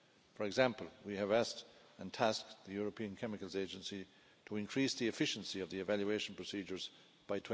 For example, we have asked and tasked the European Chemicals Agency to increase the efficiency of the evaluation procedures by